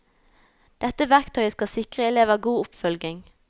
Dette verktøyet skal sikre elever god oppfølging.